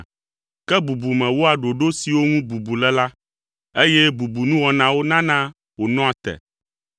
Ke bubume wɔa ɖoɖo siwo ŋu bubu le la, eye bubunuwɔnawo nana wònɔa te.